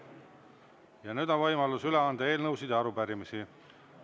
Ja nüüd on võimalus üle anda eelnõusid ja arupärimisi.